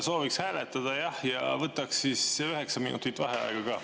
Sooviks hääletada, jah, ja võtaks 9 minutit vaheaega ka.